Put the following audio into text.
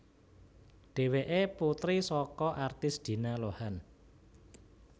Dhéwéké putri saka artis Dina Lohan